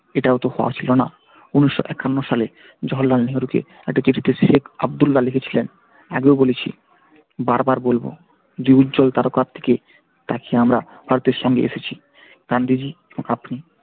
এটাও তো হওয়ার ছিল না উনিশশো একান্ন সালে জহরলাল নেহেরু কে একটা চিঠিতে শেখ আবদুল্লাহ লিখেছিলেন আগেও বলেছি বার বার বলবো যে উজ্জ্বল তারকা দিকে তাকিয়ে আমরা ভারতের সঙ্গেএসেছি